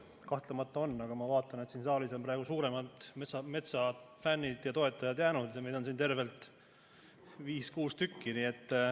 Kahtlemata on, aga ma vaatan, et siia saali on praegu suuremad metsafännid ja toetajad jäänud ja meid on siin tervelt viis-kuus.